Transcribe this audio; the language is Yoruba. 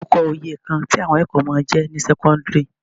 Dárúkọ oyè kan tí àwọn akẹ́kọ̀ọ́ máa ń jẹ ní sẹ́kọ́ńdírì?